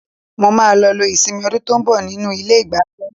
Mo máa lọ lo ìsinmi ọdún tó ń bọ̀ nínú ilé-ìgbafẹ́.